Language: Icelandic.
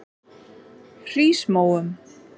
Hrísmóum